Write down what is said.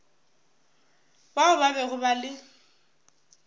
bao ba bego ba le